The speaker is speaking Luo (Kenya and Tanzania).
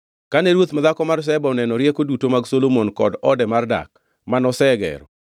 Kane ruoth madhako mar Sheba oneno rieko duto mag Solomon kod ode mar dak, manosegero,